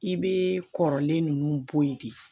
I bɛ kɔrɔlen ninnu boyi de